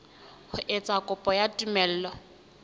ho etsa kopo ya tumello